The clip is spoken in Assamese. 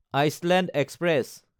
Iceland express